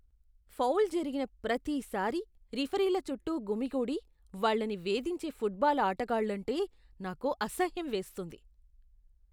Foul జరిగిన ప్రతిసారీ రిఫరీల చుట్టూ గుమికూడి వాళ్ళని వేధించే ఫుట్బాల్ ఆటగాళ్ళంటే నాకు అసహ్యం వేస్తుంది.